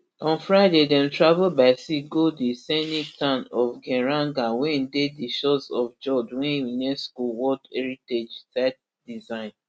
on friday dem travel by sea go di scenic town of geiranger wey dey di shores of fjord wey unesco world heritage site design